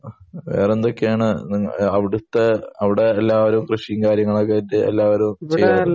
വേറെന്തൊക്കെയാണ് അവിടുള്ളോരു കൃഷിയും കാര്യങ്ങളുമൊക്കെ